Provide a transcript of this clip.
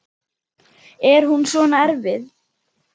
Er hún svona erfið?